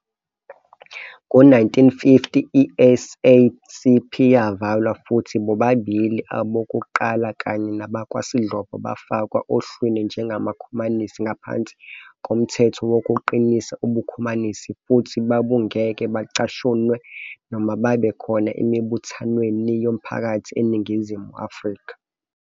Ngo-1950, i-SACP yavalwa futhi bobabili abokuqala kanye nabakwaSlovo bafakwa ohlwini njengamakhomanisi ngaphansi koMthetho Wokuqinisa Ubukhomanisi futhi babungeke bacashunwe noma babe khona emibuthanweni yomphakathi eNingizimu Afrika.